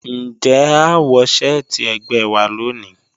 Njẹ́ à wọ̀ sẹ̀ẹtí ẹ̀gbẹ́ wà lónì?